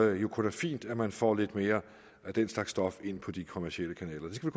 er jo kun fint at man får lidt mere af den slags stof ind på de kommercielle kanaler det skal